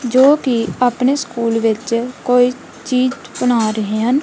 ਜੋ ਕਿ ਆਪਣੇ ਸਕੂਲ ਵਿੱਚ ਕੋਈ ਚੀਜ਼ ਬਣਾ ਰਹੇ ਹਨ।